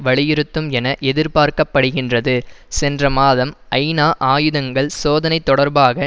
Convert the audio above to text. வலியுறுத்தும் என எதிர்பார்க்க படுகின்றது சென்ற மாதம் ஐநா ஆயுதங்கள் சோதனை தொடர்பாக